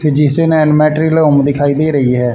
Physician and मैट्रिलोंग दिखाई दे रही है।